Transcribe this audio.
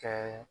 Ka